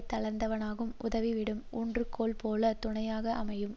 தளர்ந்தவானுக்கு உதவிடும் ஊன்று கோலை போல துணையாக அமையும்